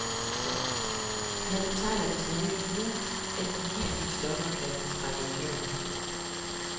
Han betegner det som ny viden, at de giftige stoffer kan trænge gennem huden.